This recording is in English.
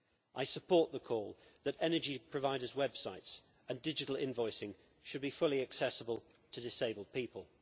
I support the call that energy providers' websites and digital invoicing should be fully accessible to disabled people.